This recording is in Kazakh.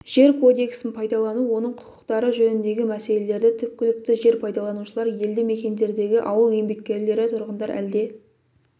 жер кодексін пайдалану оның құқықтары жөніндегі мәселелерді түпкілікті жер пайдаланушылар елді мекендердегі ауыл еңбеккерлері тұрғындар әлде